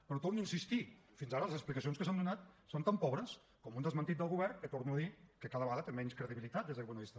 però torno a insistir hi fins ara les explicacions que s’han donat són tan pobres com un desmentiment del govern que ho torno a dir cada vegada té menys credibilitat des d’aquest punt de vista